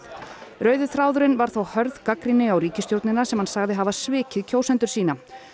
rauði þráðurinn var þó hörð gagnrýni á ríkisstjórnina sem hann sagði hafa svikið kjósendur sína